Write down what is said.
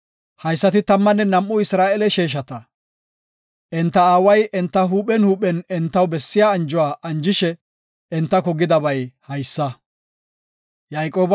Haysati tammanne nam7u Isra7eele sheeshata. Enta aaway enta huuphen huuphen entaw bessiya anjuwa anjishe entako gidabay haysa.